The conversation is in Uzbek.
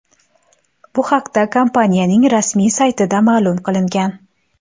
Bu haqda kompaniyaning rasmiy saytida ma’lum qilingan.